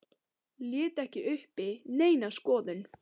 Lét ekki uppi neina skoðun.